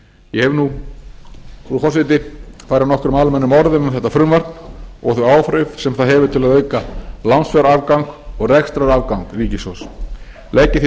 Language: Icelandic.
ég hef nú frú forseti farið nokkrum almennum orðum um þetta frumvarp og þau áhrif sem það hefur til að auka lánsfjárafgang og rekstrarafgang ríkissjóðs legg ég því